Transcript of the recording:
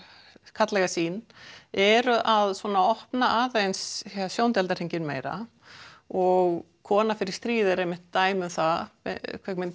karllæga sýn eru að opna aðeins sjóndeildarhringinn og kona fer í stríð er einmitt dæmi um það mynd